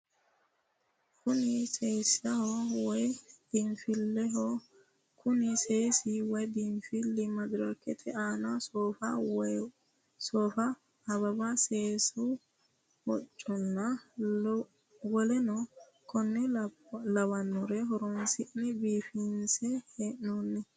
Kuni seesaho woye biinfileho kuni seesi woyi biinfili madarikete aana soofa, awawa, seesu hocconna woleno konne lawannore horonsi'ne biifinse he'nooni.